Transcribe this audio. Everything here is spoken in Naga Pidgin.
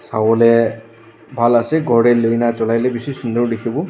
sawolae bhal ase khor tae lui na cholai lae bishi sunder dikhiwo.